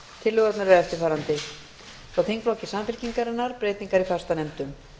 tillögurnar eru eftirfarandi frá þingflokki samfylkingarinnar breytingar á fastanefndum